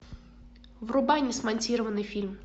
врубай несмонтированный фильм